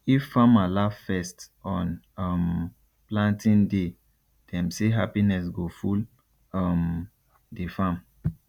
if farmer laugh first on um planting day dem say happiness go full um the farm